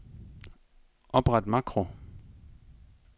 Opret makro.